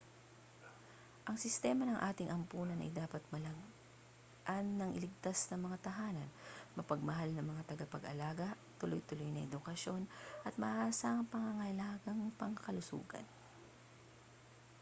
ang sistema ng ating ampunan ay dapat maglaan ng ligtas na mga tahanan mapagmahal na mga tagapag-alaga tuloy-tuloy na edukasyon at maaasahang pangangalagang pangkalusugan